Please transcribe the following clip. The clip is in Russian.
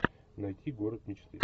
найти город мечты